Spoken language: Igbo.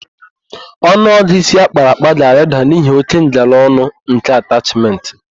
Ọnụọgụ ịsi akpara akpa ga-arịda n'ihi óké ngalaọnụ nke atachmentị.